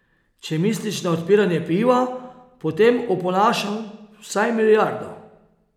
Če misliš na odpiranje piva, potem oponašam vsaj milijardo.